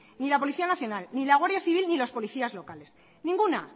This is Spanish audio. ni la policía nacional ni la guardia civil ni los policías locales ninguna